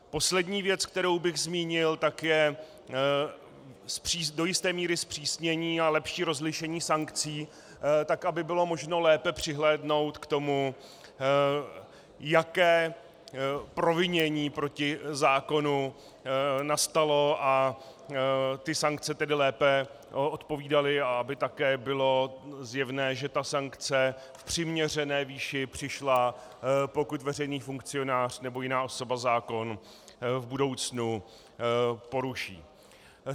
Poslední věc, kterou bych zmínil, je do jisté míry zpřísnění a lepší rozlišení sankcí, tak aby bylo možné lépe přihlédnout k tomu, jaké provinění proti zákonu nastalo, a ty sankce tedy lépe odpovídaly, a aby také bylo zjevné, že ta sankce v přiměřené výši přišla, pokud veřejný funkcionář nebo jiná osoba zákon v budoucnu poruší.